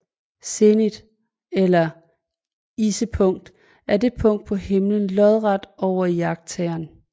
Zenit eller issepunkt er et punkt på himlen lodret over iagttageren